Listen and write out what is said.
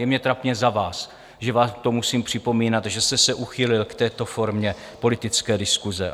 Je mně trapně za vás, že vám to musím připomínat, že jste se uchýlil k této formě politické diskuse.